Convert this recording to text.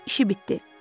İşi bitdi.